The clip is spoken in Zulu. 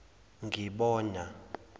ngibona